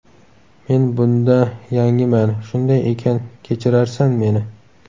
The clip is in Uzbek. Men bunda yangiman, shunday ekan kechirarsan meni.